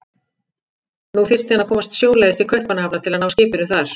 Nú þyrfti hann að komast sjóleiðis til Kaupmannahafnar til að ná skipinu þar.